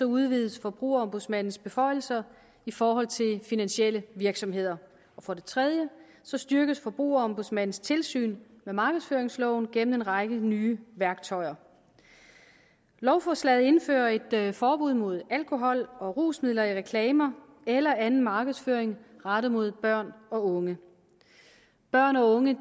udvides forbrugerombudsmandens beføjelser i forhold til finansielle virksomheder for det tredje styrkes forbrugerombudsmandens tilsyn med markedsføringsloven gennem en række nye værktøjer lovforslaget indfører et forbud mod alkohol og rusmidler i reklamer eller anden markedsføring rettet mod børn og unge børn og unge